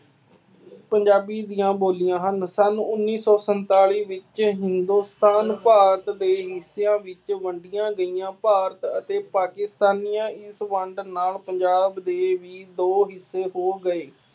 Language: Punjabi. ਪੰਜਾਬੀ ਦੀਆਂ ਬੋਲੀਆਂ ਹਨ। ਸੰਨ ਉੱਨੀ ਸੌ ਸੰਤਾਲੀ ਵਿੱਚ ਹਿੰਦੁਸਤਾਨ ਭਾਰਤ ਦੇਸ਼ ਕਈ ਹਿੱਸਿਆਂ ਵਿੱਚ ਵੰਡੀਆਂ ਗਈਆਂ ਭਾਰਤ ਅਤੇ ਪਾਕਿਸਤਾਨੀਆਂ ਸੰਬੰਧ ਨਾਲ ਪੰਜਾਬ ਦੇ ਵੀ ਦੋ ਹਿੱਸੇ ਹੋ ਗਏ।